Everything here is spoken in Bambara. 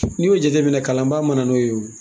n'i y'o jateminɛ kalanba mana n'o ye o.